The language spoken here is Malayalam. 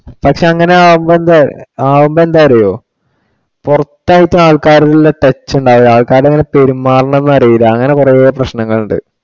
പക്ഷെ അങ്ങിനെ ആവുമ്പൊ എന്താ അറിയുവോ? പുറത്തായിട്ടു ആൾക്കറിലുള്ള touch ഉണ്ടാവില്ല. ആൾക്കാര് എങ്ങിനെ പെരുമാറണം എന്നറിയില്ല അങ്ങിനെ കുറെ പ്രശ്നങ്ങൾ ഉണ്ട്.